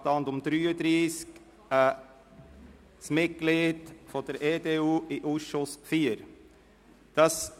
Traktandum 153: ein Mitglied der EDU in den Ausschuss IV der JuKo.